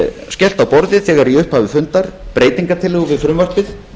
skellt á borðið þegar í upphafi fundar breytingartillögu við frumvarpið